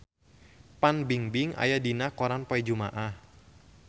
Fan Bingbing aya dina koran poe Jumaah